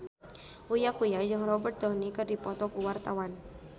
Uya Kuya jeung Robert Downey keur dipoto ku wartawan